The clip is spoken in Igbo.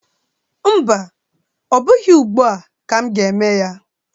Mba, ọ bụghị ugbu a ka m ga-eme ya